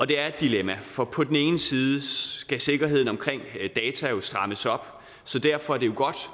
det er et dilemma for på den ene side skal sikkerheden omkring data strammes op så derfor er det godt